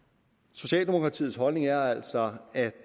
socialdemokratiets holdning er altså at